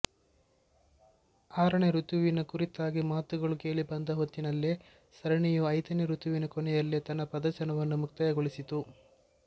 ಆರನೇ ಋತುವಿನ ಕುರಿತಾಗಿ ಮಾತುಗಳು ಕೇಳಿಬಂದ ಹೊತ್ತಿನಲ್ಲೇ ಸರಣಿಯು ಐದನೇ ಋತುವಿನ ಕೊನೆಯಲ್ಲೇ ತನ್ನ ಪ್ರದರ್ಶನವನ್ನು ಮುಕ್ತಾಯಗೊಳಿಸಿತ್ತು